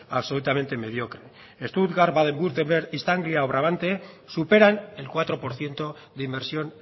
absolutamente mediocre stuttgart baden wurttemberg istria o brabante superan el cuatro por ciento de inversión